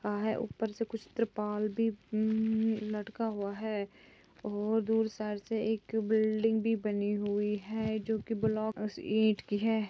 अ है ऊपर से कुछ त्रिपाल भी उम्म लटका हुआ है और दूर साइड से एक बिल्डिंग भी बनी हुई है जो कि ब्लॉकस